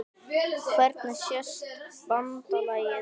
Hvernig sést BANDALAGIÐ?